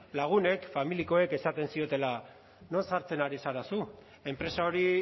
lagunek familiakoek esaten ziotela non sartzen ari zara zu enpresa hori